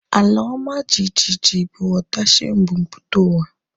Ala ọma jijiji bụ ọdachi mbumputauwa